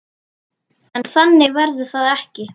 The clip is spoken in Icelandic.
En þannig verður það ekki.